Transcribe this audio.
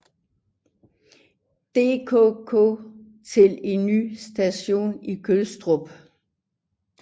DKK til en ny station i Gødstrup